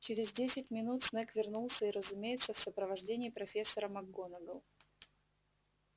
через десять минут снегг вернулся и разумеется в сопровождении профессора макгонагалл